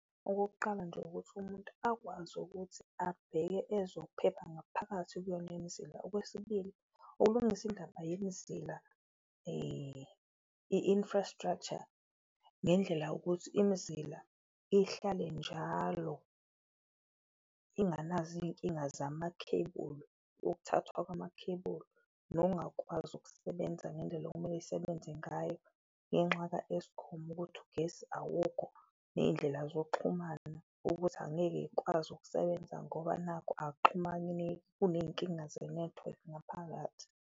Okokuqala nje ukuthi umuntu akwazi ukuthi abheke ezokuphepha ngaphakathi kuyona imizila. Okwesibili ukulungisa indaba yomzila i-infrastructure ngendlela ukuthi imizila ihlale njalo inganazo iyinkinga zamakhebulu ukuthathwa kwamakhebulu. Nongakwazi ukusebenza ngendlela okumele isebenze ngayo ngenxa ka-Eskom uma ukuthi ugesi awukho, neyindlela zokuxhumana ukuthi angeke yikwazi ukusebenza ngoba nakhu akuxhumaneki. Kuneyinkinga zenethiwekhi ngaphakathi.